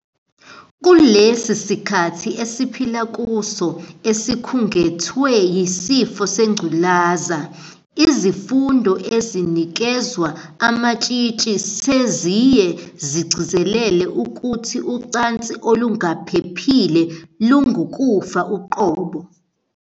Kulesi sikhathi esiphila kuso esikhungethwe yisifo sengculaza, izifundo ezinikezwa amatshitshi seziye zigcizelele ukuthi ucansi olungaphephile lungukufa uqobo.